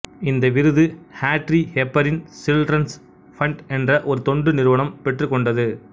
இந்த விருது Audrey Hepburn children's fund என்ற ஒரு தொண்டு நிறுவனம் பெற்றுக்கொண்டது